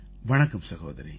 வணக்கம் சகோதரி